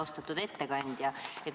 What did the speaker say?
Austatud ettekandja!